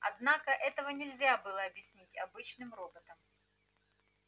однако этого нельзя объяснить обычным роботам